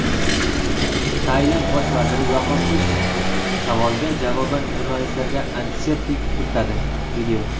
Tailand bosh vaziri "yoqimsiz" savolga javoban jurnalistlarga antiseptik purkadi.